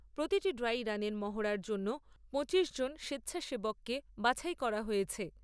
প্রতিটি ড্রাই রানের মহড়ার জন্য পঁচিশজন স্বেচ্ছাসেবককে বাছাই করা হয়েছে।